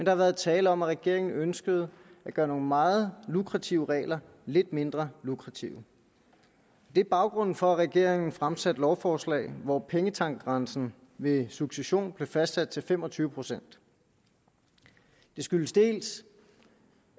har været tale om at regeringen ønskede at gøre nogle meget lukrative regler lidt mindre lukrative det er baggrunden for at regeringen fremsatte lovforslaget hvor pengetankgrænsen ved succession blev fastsat til fem og tyve procent det skyldes dels